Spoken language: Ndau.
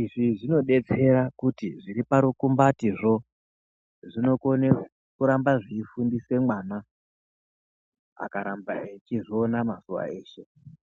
izvi zvinodetsera kuti zviriparukumbate zvo ,zvinokone kurambe zviyifundise vana akaramba eyizviona mazuva eshe.